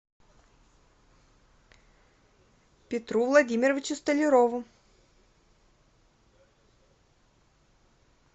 петру владимировичу столярову